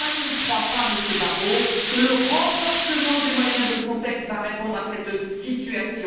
C'est pourquoi je ne crois pas, Monsieur Barrot, que le renforcement des moyens de Frontex va répondre à cette situation.